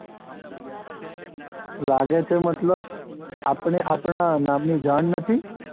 લાગે છે મતલબ, આપને આપણા નામની જાણ નથી?